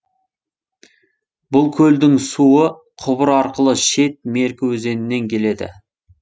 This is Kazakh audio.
бұл көлдің суы құбыр арқылы шет меркі өзенінен келеді